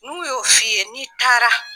N'u y'o fi ye n'i taara.